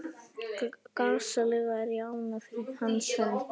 Gasalega er ég ánægð fyrir hans hönd.